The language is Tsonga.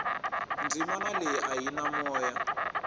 dzimana leyia a yi na moya